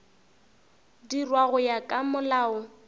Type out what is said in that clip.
dirwa go ya ka molao